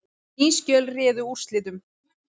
Ný skjöl réðu úrslitum